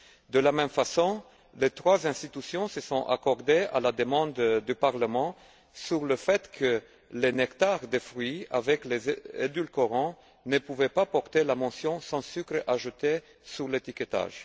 De la même façon, les trois institutions se sont accordées, à la demande du Parlement, sur le fait que les nectars de fruits contenant des édulcorants ne pouvaient pas porter la mention sans sucres ajoutés sur l'étiquetage.